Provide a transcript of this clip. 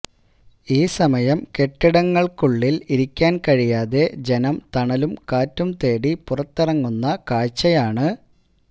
ഈ സമയം കെട്ടിടങ്ങള്ക്കുള്ളില് ഇരിക്കാന് കഴിയാതെ ജനം തണലും കാറ്റും തേടി പുറത്തിറങ്ങുന്ന കാഴ്ചയാണ്